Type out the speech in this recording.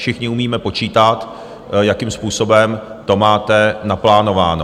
Všichni umíme počítat, jakým způsobem to máte naplánováno.